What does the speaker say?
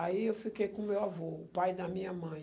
Aí eu fiquei com o meu avô, o pai da minha mãe.